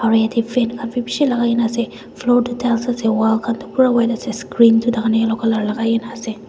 aro yatae fan khan bi bishi lakai kaena ase floor tu tiles ase wall khan toh pura white ase screen tu takhan yellow colour lakai kaena ase.